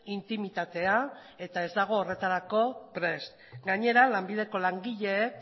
intimitatea eta ez dago horretarako prest gainera lanbideko langileek